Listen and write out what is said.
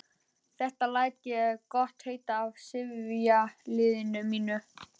Þetta læt ég gott heita af sifjaliði mínu.